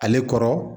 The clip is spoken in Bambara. Ale kɔrɔ